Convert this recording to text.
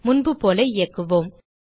முன்புபோல இயக்குவோம்